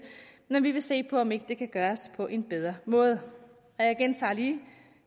men vi vil se på om ikke det kan gøres på en bedre måde og jeg gentager lige